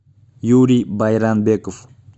юрий байрамбеков